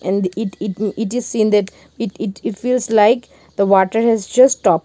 in the it it is seen that it it if is like the water has just stopped.